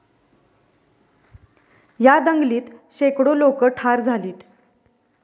या दंगलीत शेकडो लोकं ठार झालीत.